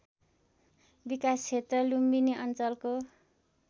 विकासक्षेत्र लुम्बिनी अञ्चलको